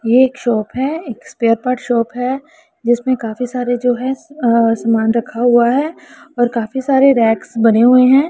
ये एक शॉप है एक पेपर शॉप है जिसमें काफी सारे जो है अ समान रखा हुआ है और काफी सारे रेक्स बने हुए हैं।